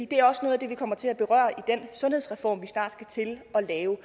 det er også noget af det vi kommer til at berøre i den sundhedsreform vi snart skal til at lave